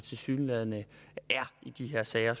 tilsyneladende er i de her sager